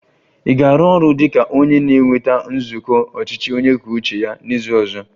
Ị ga-arụ ọrụ dị ka onye na-eweta nzukọ ọchịchị onye kwuo uche ya n'izu ọzọ?